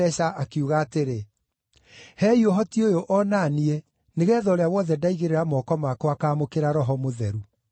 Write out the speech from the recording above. akiuga atĩrĩ, “Heei ũhoti ũyũ o na niĩ nĩgeetha ũrĩa wothe ndaigĩrĩra moko makwa akaamũkĩra Roho Mũtheru.”